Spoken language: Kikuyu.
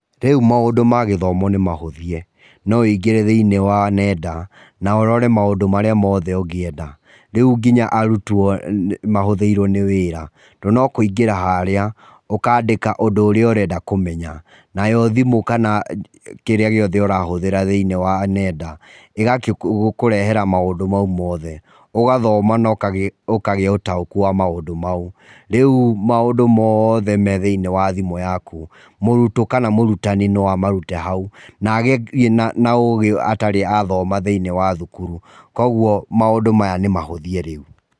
Rīu maūndū ma gīthomo nī mahūthīe no wīgīre thīnīnwa nenda na ūrore maūndū marea mothe ūgīenda rīū gīnya arūtwo ni mahotheīrīo nī wīra tondū no kūigīra harīa ukadīka ūndū ūrīa ūrenda kūmenya nayo thimū kana kīrīa gīothe ūrahothera thiīni wa nenda thīnī wa enda gī kūrehera maūndū mau mothe ūgathoma na ūkagīa ūtaūkū wa maūndū mau rī maūndū mothe mee thinī wa thimū yaku mūrtwo kana mūrutanī no amarūte hau na agīe na ugī atarī athoma thiīnī wa thukuru kūoguo maūndū maya nī mahothie